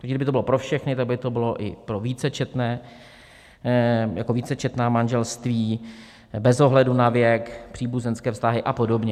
Takže kdyby to bylo pro všechny, tak by to bylo i pro vícečetné... pro vícečetná manželství, bez ohledu na věk, příbuzenské vztahy a podobně.